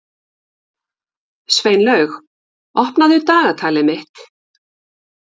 Sveinlaug, opnaðu dagatalið mitt.